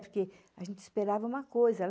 Porque a gente esperava uma coisa.